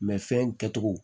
fɛn in kɛcogo